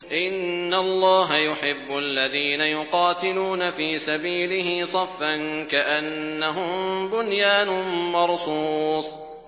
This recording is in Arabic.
إِنَّ اللَّهَ يُحِبُّ الَّذِينَ يُقَاتِلُونَ فِي سَبِيلِهِ صَفًّا كَأَنَّهُم بُنْيَانٌ مَّرْصُوصٌ